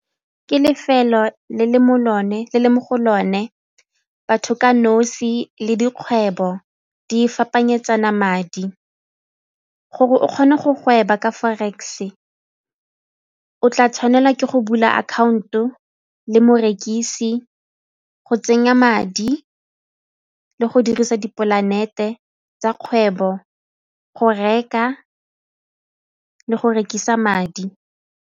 Ke lefelo le mo go lone batho ka nosi le dikgwebo di fapanenyetsana madi. Gore o kgone go gweba ka forex o tla tshwanela ke go bula akhaonto le morekisi, go tsenya madi le go dirisa dipolanete tsa kgwebo go reka le go rekisa madi.